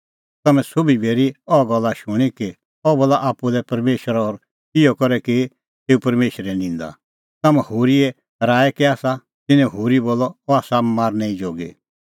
तम्हैं सोभी बी हेरी अह गल्ला शूणीं कि अह बोला आप्पू लै परमेशर और इहअ करै की एऊ परमेशरे निंदा तम्हां होरीए कै राऐ आसा तिन्नैं होरी बोलअ अह आसा मारनै ई जोगी